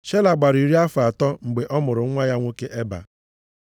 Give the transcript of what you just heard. Shela gbara iri afọ atọ mgbe ọ mụrụ nwa ya nwoke Eba.